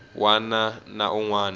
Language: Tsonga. wana na un wana u